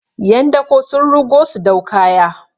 yan dako sun rugo su dau kaya